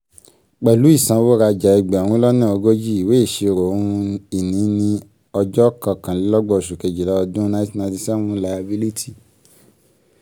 pẹ̀lú ìsanwó-rajá ẹgbẹ̀rún lọ́nà ogójì ìwé ìṣirò ohun-ìní ní ọjọ́ kọkànlélọ́gbọ̀n oṣù kejìlá ọdún nineteen ninety seven layabílítì